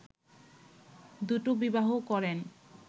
দুটো বিবাহ করেন